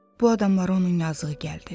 Bu adama onun yazığı gəldi.